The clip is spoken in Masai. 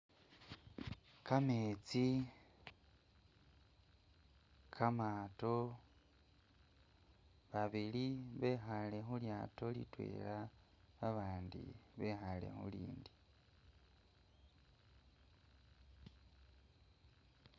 Kametsi kamaato, babili bekhaale khulyato litwela abandi bekhaale khulindi.